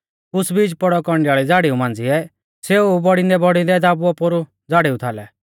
कुछ़ बीज पौड़ौ कौंडियाल़ी झ़ाड़िऊ मांझ़िऐ सेऊ बौड़िदैंबौड़िदैं दाबुऔ पोरु झ़ाड़िऊ थाल